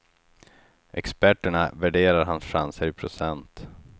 Experterna värderar hans chanser i procent.